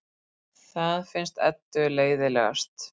Það finnst Eddu leiðinlegast.